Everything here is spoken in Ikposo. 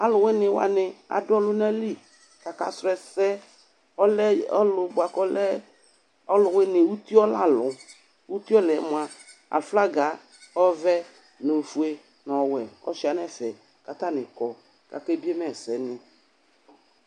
Alʋwini wani adʋ ɔlʋna li kʋ akasʋlɔ ɛsɛ Ɔlɛ ʋlʋ boa kʋ ɔlɛ ɔlʋwini, uti ɔla lʋ Ʋti ɔla yɛ moa aflaga ɔvɛ nʋ ofue nʋ ɔwɛ ɔsua nɛ ɛfɛ kʋ atani kɔ kʋ akebie ma ɛsɛni